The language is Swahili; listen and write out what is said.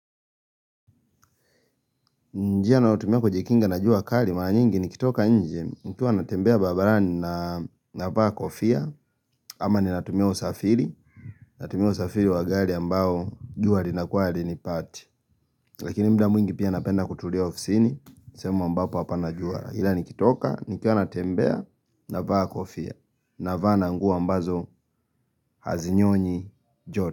Njia ninaotumia kujikinga na jua kari, mara nyingi nikitoka nje, nikiwa natembea babarani navaa kofia, ama ninatumia usafiri wa gari ambao jua linakuwa halinipati. Lakini muda mwingi pia napenda kutulia ofisini, sehemu ambapo hapana jua. Hila nikitoka, nikiwa natembea navaa kofia, navaa na nguo ambazo hazinyonyi joto.